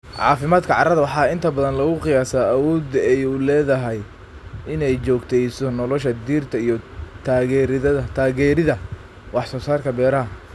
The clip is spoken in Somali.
Caafimaadka carrada waxaa inta badan lagu qiyaasaa awoodda ay u leedahay in ay joogteyso nolosha dhirta iyo taageeridda wax soo saarka beeraha.